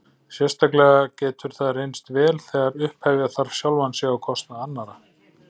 Sérstaklega getur það reynst vel þegar upphefja þarf sjálfan sig á kostnað annarra.